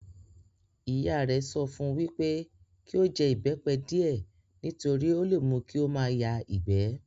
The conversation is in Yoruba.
Ìyá rẹ̀ sọ fún un wípé kí ó jẹ ìbẹ́pẹ díẹ̀ nítorí ó le mú kí ó máa yá ìgbẹ́